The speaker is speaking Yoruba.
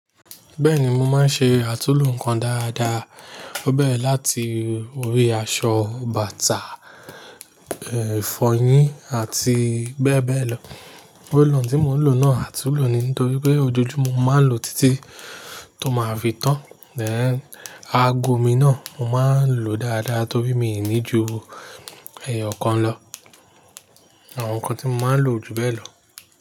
Bẹ́ẹ̀ni, mo máa ń ṣe àtulò nǹkan dáadáa. Ó bẹ́rẹ̀ láti orí aṣọ, bàtà, ìfọyín àti bẹ́ẹ̀ bẹ́ẹ̀ lọ. Roll on tí mò ń lò náà àtulò ni nítorí pé ojoojúmọ́ mo màá ń lò títí tó máa fi tán. Ago mi náà mo máa ń lò ó dáadáa torí mi ò ní ju ẹ̀yọ̀kan lọ. Àwọn nǹkan tí mo máa ń lò o ju bẹ́ẹ̀ lọ.